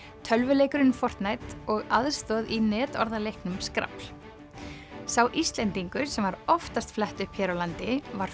tölvuleikurinn og aðstoð í netorðaleiknum skrafl sá Íslendingur sem var oftast flett upp hér á landi var